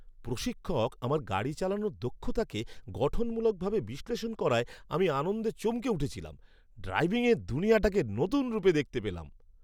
প্রশিক্ষক আমার গাড়ি চালানোর দক্ষতাকে গঠনমূলকভাবে বিশ্লেষণ করায় আমি আনন্দে চমকে উঠেছিলাম। ড্রাইভিংয়ের দুনিয়াটাকে নতুন রূপে দেখতে পেলাম।